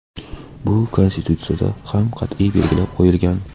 Bu Konstitutsiyada ham qat’iy belgilab qo‘yilgan.